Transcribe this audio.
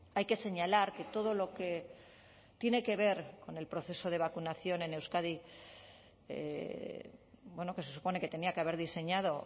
hay que señalar que todo lo que tiene que ver con el proceso de vacunación en euskadi bueno que se supone que tenía que haber diseñado